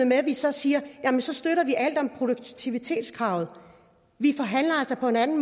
med at vi så siger at vi støtter alt om produktivitetskravet vi forhandler altså på en anden